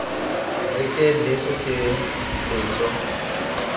re ke leso ke leso